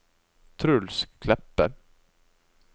Truls Kleppe